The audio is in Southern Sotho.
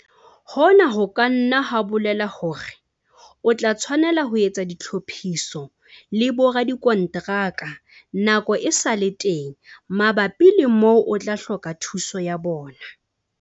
Hona ho ka nna ha bolela hore o tla tshwanela ho etsa ditlhophiso le boradikonteraka nako e sa le teng mabapi le moo o tla hloka thuso ya bona.